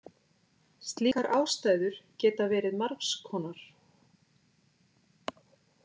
Slíkar ástæður geta verið margs konar.